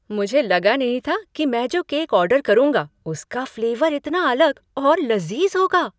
मुझे लगा नहीं था कि मैं जो केक ऑर्डर करूँगा उसका फ्लेवर इतना अलग और लजीज़ होगा!